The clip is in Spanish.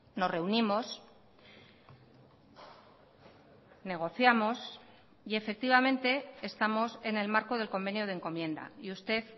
nos reunimos negociamos y efectivamente estamos en el marco del convenio de encomienda y usted